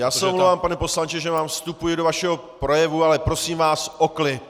Já se omlouvám, pane poslanče, že vám vstupuji do vašeho projevu, ale prosím vás o klid.